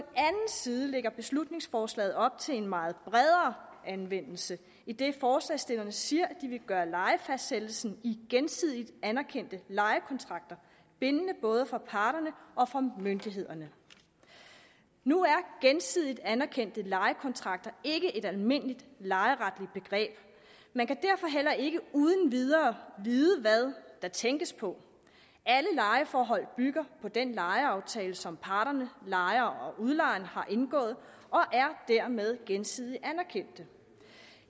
side lægger beslutningsforslaget op til en meget bredere anvendelse idet forslagsstillerne siger at de vil gøre lejefastsættelsen i gensidigt anerkendte lejekontrakter bindende både for parterne og for myndighederne nu er gensidigt anerkendte lejekontrakter ikke et almindeligt lejeretligt begreb man kan derfor heller ikke uden videre vide hvad der tænkes på alle lejeforhold bygger på den lejeaftale som parterne lejeren og udlejeren har indgået og er dermed gensidigt anerkendte